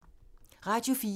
Radio 4